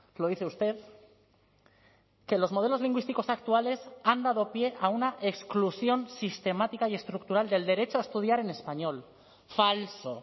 lo dice usted que los modelos lingüísticos actuales han dado pie a una exclusión sistemática y estructural del derecho a estudiar en español falso